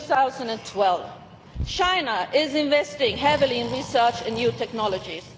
2012. China is investing heavily in research and new technologies.